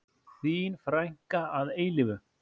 Þín frænka að eilífu.